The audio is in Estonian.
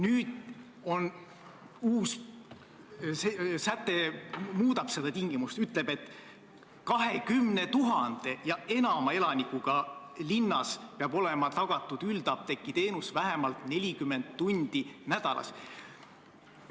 Nüüd esitatud uus eelnõu muudab seda tingimust ja ütleb, et 20 000 või enama elanikuga linnas peab üldapteegiteenus olema tagatud vähemalt 40 tundi nädalas.